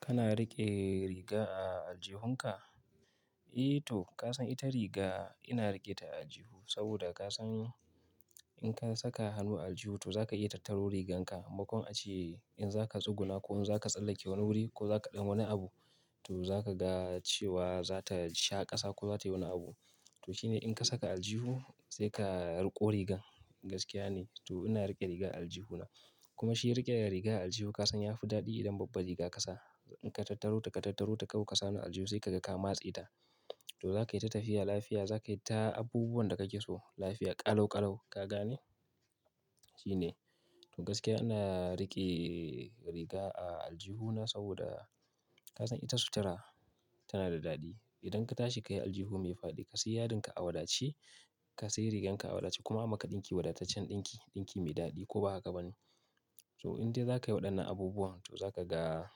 Kana riƙe riga a aljihunka? Eh to kasan ita riga ina riƙe ta a aljihu saboda kasan in kasa ka hannu a aljihu to zaka iya tattaro rigan ka me makon ace in zaka tsuguna ko zaka tsallake wani guri ko zaka ɗan yi wani abu to zakaga cewa zata sha ƙasa ko zatayi wani abu to shine in ka saka aljihu sai ka riƙo riga gaskiya ne to ina riƙe riga a aljihuna. Kuma shi riƙe rigar a aljihu kasan yafi daɗi idan babba riga kasa. In ka tattaro ta ka tattaro ta kawai ka sa hannu a aljihu sai kaga kama tseta. To zaka yi ta tafiya lafiya, za ka yi ta abubuwan da kake so lafiya ƙalau ƙalau, ka gane? Shine. To gaskiya ina riƙe riga a aljihuna saboda kasan ita sutura tana da daɗi. Idan ka tashi ka yi aljihu mai faɗi, ka sai yadinka a wadace, ka sai riganka a wadace kuma maka ɗinki wadataccen ɗinki, ɗinki mai daɗi ko ba haka ba ne. To idan zai zaka yi waɗannan abubuwan to zaka ga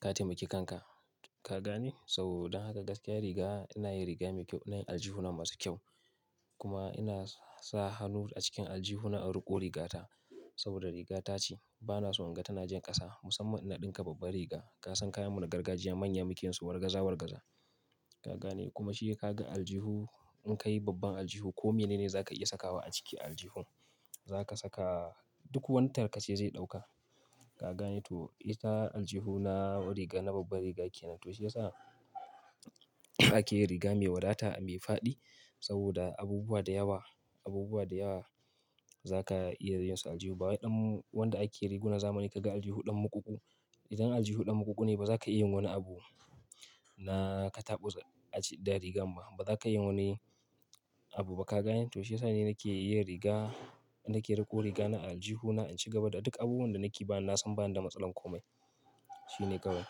ka taimaki kanka, ka gane? So dan haka gaskiya riga ina yin riga mai kyau, ina yin aljihuna masu kyau. Kuma ina sa hannu a cikin aljihuna a riƙo rigata saboda riga tace bana so in ga tana jan ƙasa musamman in na ɗinka babba riga. Kasan kayan mu na gargajiya manya muke yin su wargaza wargaza, ka gane? Kuma shi ka ga aljihu in ka yi babban aljihu kome ne za ka iya sakawa a ciki a aljihun. Za ka saka duk wani tarkace zai ɗauka, ka gane? To ita aljihuna riga na babba riga kenan. To shi yasa ake yin riga mai wadata mai faɗi saboda abubuwa da yawa, abubuwa da yawa za ka iya yin su a aljihu. Bawai ɗan wanda ake riguna zamani kaga aljihu ɗan muƙuƙu. Idan aljihu ɗan muƙuƙu ne ba za ka iya yin wani abu na katabus a ci da rigan ba. Ba za ka iya yin wani abu ba ka gane? To shi yasa ne nake iya riga, na ke riƙo riga na a aljihuna in ci gaba da duk abubuwan da nake ba yan na san ba na da matsalan komai. Shine kawai.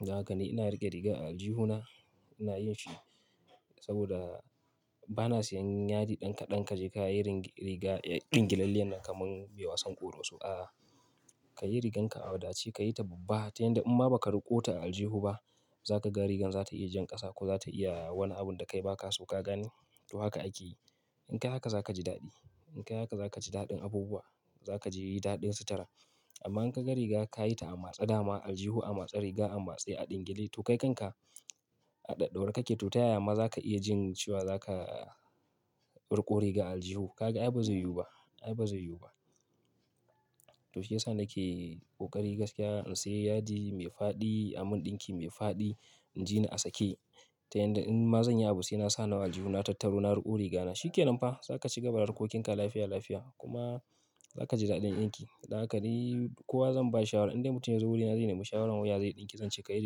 Don haka ni ina riƙe riga a aljihuna, ina yin shi saboda bana sayan yadi ɗan kaɗan ka je ka yi rig-- riga ɗingilalliyan nan kaman mai wasan ƙoroso. A'a. Ka yi riganka a wadace, ka yi ta babba ta yanda in ma ba ka riƙo ta a aljihu ba za ka ga rigan za ta iya jan ƙasa ko za ta iya wani abun da kai ba ka so, ka gane? To haka ake yi. In ka yi haka za ka ji daɗi. In ka yi haka za ka ji daɗin abubuwa. Zaka ji daɗin sutura amma in ka ga riga ka yi ta a matse dama aljihu a matse riga a matse a ɗingile to kai kanka a ɗaɗaurar kake to ta yaya ma za ka iya jin cewa za ka riƙo riga a aljihu? Ka ga ai ba zai yiwu ba, ai ba zai yiwu ba. To shiyasa nake ƙokari gaskiya in sayi yadi mai faɗi amin ɗinki mai faɗi in jini asake ta yanda in ma zanyi abu sai na sa hannu a aljihu na tattaro na riƙo riga na shi ke nan fa za ka ci gaba da harkokinka lafiya lafiya kuma za ka ji daɗin ɗinki. Don haka dai kuwa zan ba shi shawara in dai mutum ya zo wurina zai nemi shawarar wuya zai ɗinki zance ka yi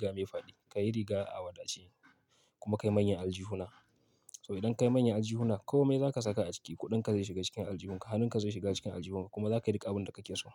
riga mai faɗi, ka yi riga a wadace kuma ka yi manyan aljihuna. So idan ka yi manyan aljihuna kome za ka saka a ciki. Kuɗinka zai shiga cikin aljihunka, hannunka zai shiga cikin aljihunka kuma za ka yi riƙa abun da kake so.